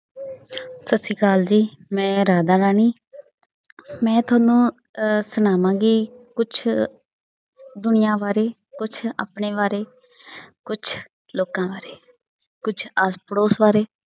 ਸਤਿ ਸ੍ਰੀ ਅਕਾਲ ਜੀ, ਮੈਂ ਰਾਧਾ ਰਾਣੀ ਮੈਂ ਤੁਹਾਨੂੰ ਅਹ ਸੁਣਾਵਾਂ ਗੀ ਕੁਛ ਦੁਨੀਆ, ਬਾਰੇ ਕੁਛ ਆਪਣੇ ਬਾਰੇ, ਕੁਛ ਲੋਕਾਂ ਬਾਰੇ, ਕੁਛ ਆਸ ਪੜੋਸ ਬਾਰੇ।